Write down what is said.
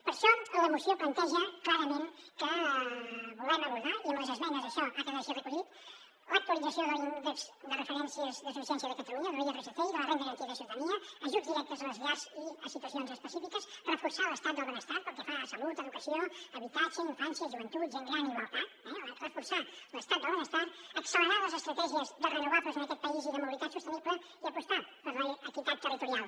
per això la moció planteja clarament que volem abordar i amb les esmenes això ha quedat així recollit l’actualització de l’índex de referència de suficiència de catalunya l’irsc i de la renda garantida de ciutadania ajuts directes a les llars i a situacions específiques reforçar l’estat del benestar pel que fa a salut educació habitatge infància joventut gent gran i igualtat eh reforçar l’estat del benestar accelerar les estratègies de renovables en aquest país i de mobilitat sostenible i apostar per l’equitat territorial